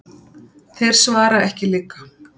Þeir svara ekki líka.